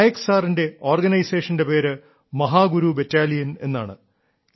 നായക് സാറിന്റെ ഓർഗനൈസേഷന്റെ പേര് മഹാഗുരു ബറ്റാലിയൻ എന്നാണ്